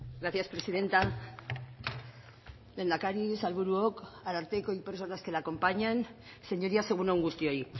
gracias presidenta lehendakari sailburuok ararteko y personas que le acompañan señorías egun on guztioi